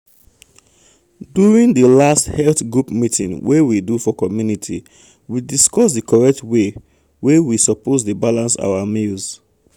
um professionals don confirm say if you dey ensure say your food get everything complete e dey um necessary um for beta quality life.